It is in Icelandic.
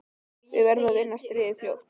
Við verðum að vinna stríðið fljótt.